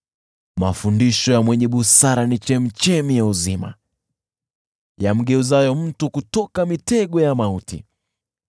Mafundisho ya mwenye busara ni chemchemi ya uzima, ili kumwepusha mtu na mitego ya mauti.